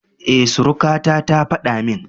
E, surukata ta faɗa min.